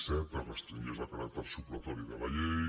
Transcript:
set es restringeix el caràcter supletori de la llei